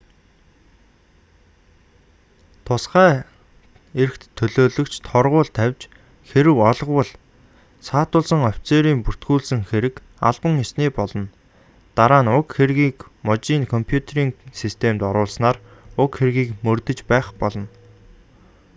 тусгай эрхт төлөөлөгч торгууль тавьж хэрэв олговол саатуулсан офицерын бүртгүүлсэн хэрэг албан ёсны болно дараа нь уг хэргийг мужийн компьютерийн системд оруулснаар уг хэргийг мөрдөж байх болно